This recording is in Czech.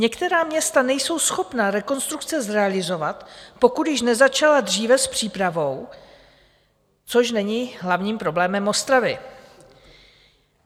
Některá města nejsou schopna rekonstrukce zrealizovat, pokud již nezačala dříve s přípravou, což není hlavním problémem Ostravy.